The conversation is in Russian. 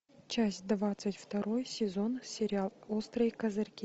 часть двадцать второй сезон сериал острые козырьки